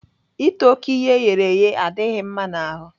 Ịta oké ihe eghereghe adịghị mma n'ahụ.